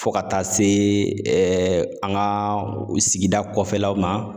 Fɔ ka taa se ɛɛ an ga sigida kɔfɛlaw ma